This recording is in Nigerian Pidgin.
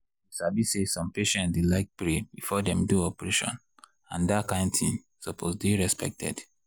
you sabi say some patients dey like pray before dem do operation and dat kind thing suppose dey respected.